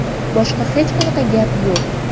Boshqa hech qanaqa gap yo‘q.